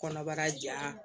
Kɔnɔbara ja